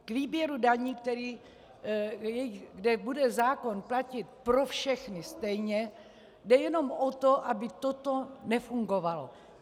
K výběru daní, kde bude zákon platit pro všechny stejně, jde jenom o to, aby toto nefungovalo.